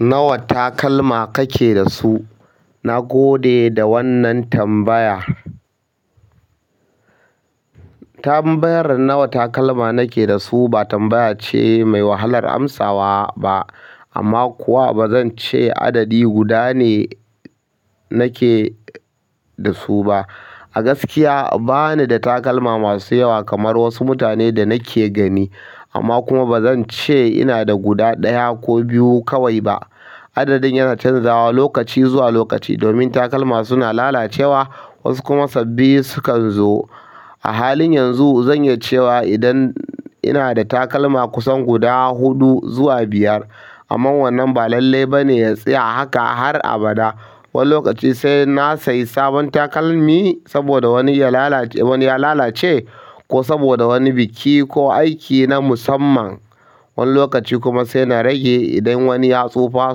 Nawa takalma kake da su? Na gode da wannan tambaya. Tambayar nawa takalma nake da su ba tambaya ce mai wahalar amsawa ba amma kuwa bazan ce adadi guda ne nake da su ba. A gaskiya bani da takalma masu yawa kamar wasu mutane da nake gani amma kuma bazan ce ina da guda ɗaya ko biyu kawai ba. Adadin yana canzawa lokaci zuwa lokaci domin takalma suna lalacewa wasu kuma sabbi sukan zo. A halin yanzu zan iya cewa idan ina da takalma kusan guda huɗu zuwa biyar. Amma wannan ba lalle ba ne ya tsaya haka har abada. Wani lokaci sai na sayi sabon takalmi saboda wani ya lala-wani ya lalace ko saboda wani biki ko aiki na musamman. Wani lokaci kuma sai na rage idan wani ya tsufa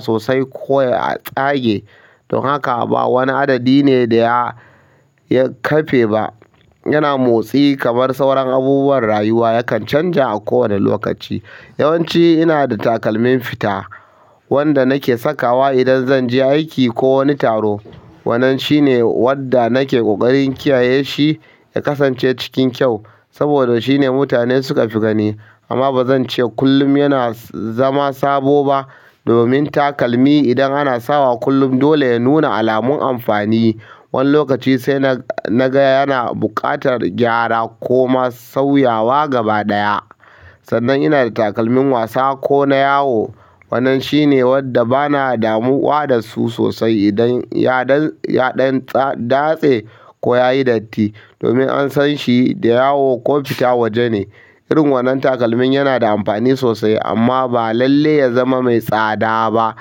sosai ko ya tsage. Don haka ba wani adadi ne da ya, ya kafe ba. Yana motsi kamar sauran abubuwan rayuwa yakan canja a kowane lokaci. Yawan ci ina da takalmin fita wanda nake sakawa idan zan je aiki ko wani taro. Wannan shine wanda nake ƙoƙarin kiyaye shi ya kasance cikin kyau saboda shine mutane suka fi gani. Amma bazan ce kullum yana zama sabo ba domin takalmi idan ana sawa kullum dole ya nuna alamun amfani. Wani lokaci sai na, na ga yana buƙatar gyara ko ma sauyawa gaba ɗaya. Sannan ina da takalmin wasa ko na yawo. Wannan shine wadda bana damuwa dasu sosai idan ya dan ya ɗan tsa datse ko yayi datti domin an sanshi da yawo ko fita waje ne. Irin wannan takalmin yana da amfani sosai amma ba lalle ya zama mai tsada ba.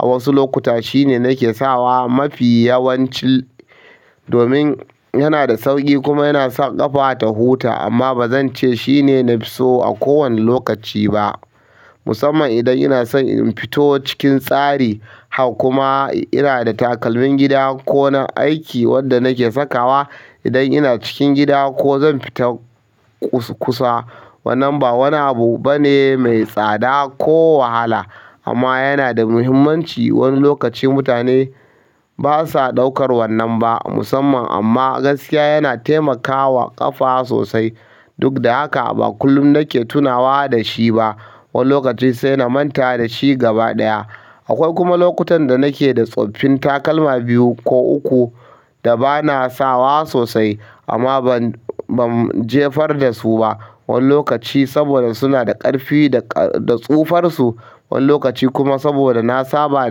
A wasu lokuta shine nake sawa mafi yawanci domin yana da sauƙi kuma yana sa ƙafa ta huta amma bazan ce shine nafi so a kowane lokaci ba. Musamman idan ina son in fito cikin tsari. Hak kuma ina da takalmin gida ko na aiki wanda nake sakawa idan ina cikin gida ko zan fita kus kusa. Wannan ba wani abu ba ne mai tsada ko wahala amma yana da muhimmanci. Wani lokaci mutane basa ɗaukar wannan ba musamman amma gaskiya yana taimakawa ƙafa sosai. Duk da haka ba kullum nake tunawa da shi ba. Wani lokaci sai na manta da shi gaba ɗaya. Akwai kuma lokutan da nake da tsoffin takalma biyu ko uku da bana sawa sosai amma ban ban jefar dasu ba wani lokaci saboda suna da ƙarfi da, da tsufarsu. Wani lokaci kuma saboda na saba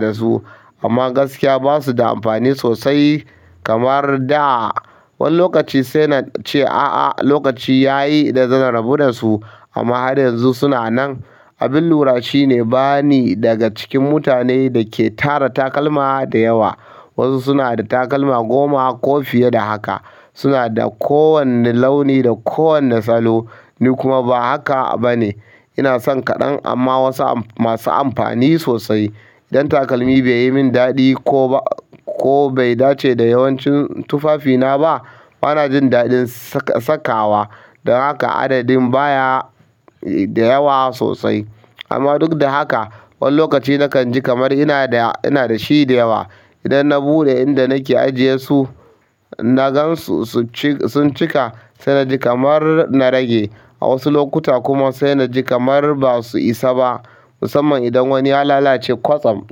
da su. Amma gaskiya basu da amfani sosai kamar da. Wani lokaci sai na ce a'a lokaci ya yi da zan rabu da su amma har yanzu suna nan. Abin lura shine bani daga cikin mutane da ke tara takalma da yawa. Wasu suna da takalma goma ko fiye da haka. Suna da kowane launi da kowane salo. Ni kuma ba haka ba ne. Ina san kaɗan amma wasu masu amfani sosai. Idan takalmi bai yi min daɗi ko ba, ko bai dace da yawancin tufafina ba, bana jin daɗin saka, sakawa. Dan haka adadin baya da yawa sosai. Amma duk da haka wani lokaci nakan ji kamar ina da, ina da shi da yawa. Idan na buɗe inda nake ajiye su na gan su, sun cika sai na ji kamar na rage. A wasu lokuta kuma sai na ji kamar ba su isa ba. Musamman idan wani ya lalace kwatsam.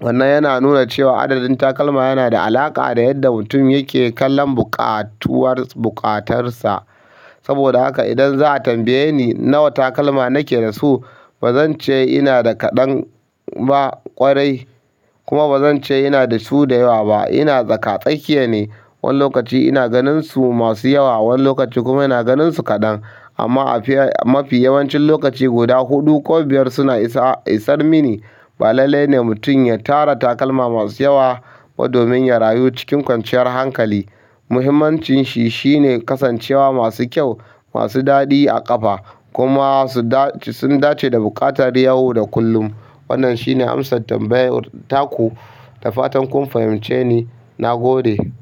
Wannan yana nuna cewa adadin takalma yana da alaƙa da yadda mutum yake kallon buƙatuwar, buƙatarsa. Saboda haka idan za a tambaye ni nawa takalma nake da su bazan ce ina da kaɗan ba ƙwarai. Kuma bazan ce ina da su da yawa ba. Ina tsaka tsakiye ne. Wani lokaci ina ganin su masu yawa wani lokaci kuma ina ganin su kaɗan. Amma a mafi yawancin lokaci guda huɗu ko biyar suna isa, isar mini. Ba lalle ne mutum ya tara takalma masu yawa ba domin ya rayu cikin kwanciyar hankali. Muhimmancin shi shine kasancewa masu kyau, masu daɗi a ƙafa kuma su dace, sun dace da buƙatar yau da kullum. Wannan shine amsar tambayar ta ku. Da fatan kun fahimce ni. Na gode.